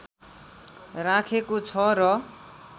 राखेको छ र